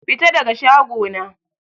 Fita daga shago na!